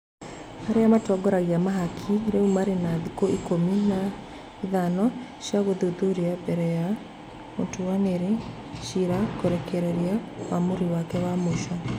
Arĩa matongoragia mahaki rĩu marĩ na thikũ ikũmi na ithano cia gũthuthuria mbere ya mũtuanĩri cira kũrekereria ũamũri wake wa mũico.